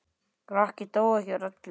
Rokkið dó ekki úr elli.